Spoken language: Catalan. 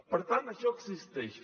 per tant això existeix